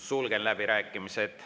Sulgen läbirääkimised.